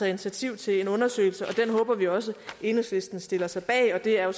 initiativ til en undersøgelse og den håber vi også enhedslisten stiller sig bag og det er jo